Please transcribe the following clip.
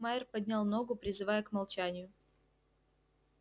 майер поднял ногу призывая к молчанию